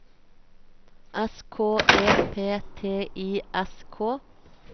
S K E P T I S K